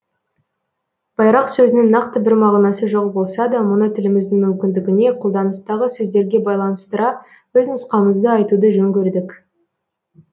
байрақ сөзінің нақты бір мағынасы жоқ болса да мұны тіліміздің мүмкіндігіне қолданыстағы сөздерге байланыстыра өз нұсқамызды айтуды жөн көрдік